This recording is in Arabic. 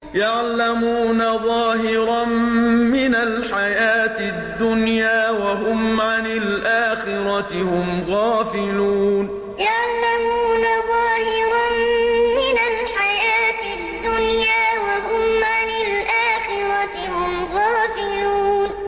يَعْلَمُونَ ظَاهِرًا مِّنَ الْحَيَاةِ الدُّنْيَا وَهُمْ عَنِ الْآخِرَةِ هُمْ غَافِلُونَ يَعْلَمُونَ ظَاهِرًا مِّنَ الْحَيَاةِ الدُّنْيَا وَهُمْ عَنِ الْآخِرَةِ هُمْ غَافِلُونَ